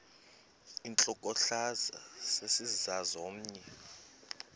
intlokohlaza sesisaz omny